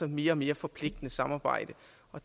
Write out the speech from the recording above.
mere og mere forpligtende samarbejde